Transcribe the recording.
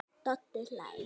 Doddi hlær.